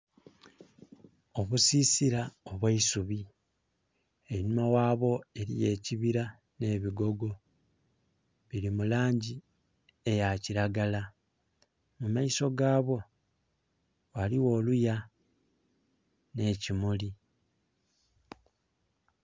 Obusisila obweisubi einhuma wa bwo eriyo ekibira ne bigogo biri mulangi eya kilagala mu maiso ga bwo waliwo oluya ne kimuli.